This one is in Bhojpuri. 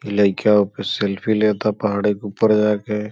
ई लइका ओपे सेल्फी लेता पहाड़ी के ऊपर जाके।